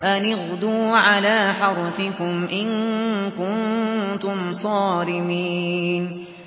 أَنِ اغْدُوا عَلَىٰ حَرْثِكُمْ إِن كُنتُمْ صَارِمِينَ